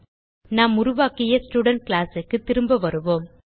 நாம் உருவாக்கிய student class க்கு திரும்ப வருவோம்